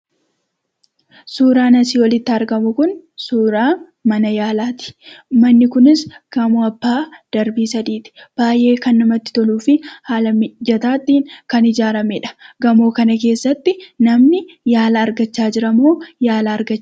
Suuraan asii olitti argamu kun, suuraa mana yaalaati. Manni kunis gamoo abbaa darbii sadiiti. Baayyee kan namatti toluufi haala mijataatti kan ijaarramedha .gamoo kana keessatti namni yaala argachaa jiramoo?